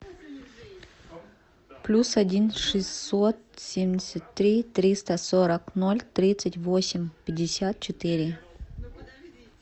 плюс один шестьсот семьдесят три триста сорок ноль тридцать восемь пятьдесят четыре